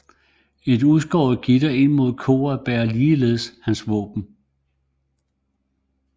Et udskåret gitter ind mod koret bærer ligeledes hans våben